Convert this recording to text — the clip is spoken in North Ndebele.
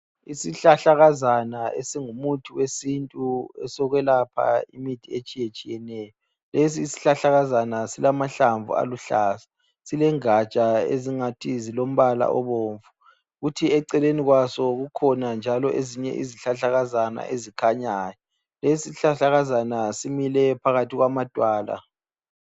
Isihlahlakazana esingumuthi wesintu esokwelapha imithi etshiyetshiyeneyo. Lesi sihlahlakazana silamahlamvu aluhlaza. Silengatsha ezingathi zilombala obomvu. Kuthi eceleni kwaso kukhona njalo izihlahlakazana ezimilayo. Lesi sihlahlakazana simile phakathi kwamadwala.